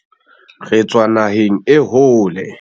re tswa naheng e hole